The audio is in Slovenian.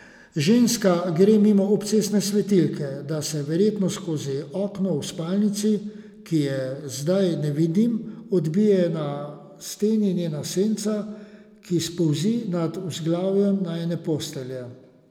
Ženska gre mimo cestne svetilke, da se verjetno skozi okno v spalnici, ki je zdaj ne vidim, odbije na steni njena senca, ki spolzi nad vzglavjem najine postelje.